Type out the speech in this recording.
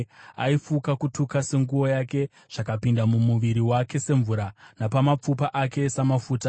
Aifuka kutuka senguo yake; zvakapinda mumuviri wake semvura, nomumapfupa ake samafuta.